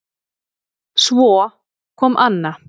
Svo kom Anna